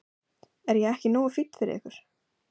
Er ég ekki nógu fínn fyrir ykkur?